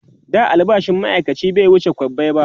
da albashin maaikaci bai wuce kwabbai ba